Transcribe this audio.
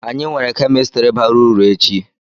Anyị nwere kemistri bara uru echi.